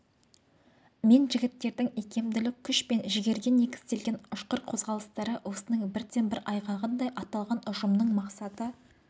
мен жігіттердің икемділік күш пен жігерге негізделген ұшқыр қозғалыстары осының бірден-бір айғағындай аталған ұжымның мақсаты